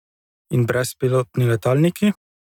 In brezpilotni letalniki?